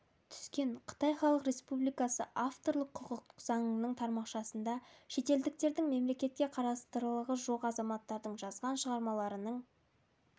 түскен қытай халық республикасы авторлық құқық заңының тармақшасында шетелдіктердің мемлекетке қарастылығы жоқ азаматтардың жазған шығармаларының